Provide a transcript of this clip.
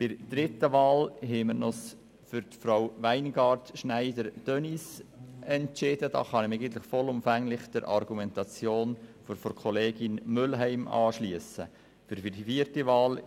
Betreffend die dritte Wahl können wir uns vollumfänglich der Argumentation von Kollegin Mühlheim anschliessen und haben uns für Frau Denise Weingart-Schneider entschieden.